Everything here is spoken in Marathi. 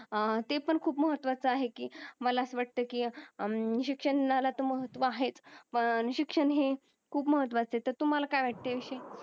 अं ते पन खूप महत्वाच आहे कि मला अस वाटतंय कि अं शिक्षणालात महत्व आहेत पण शिक्षण हे खूप महत्तुवाच आहे तर तूम्हाला काय वाटतंय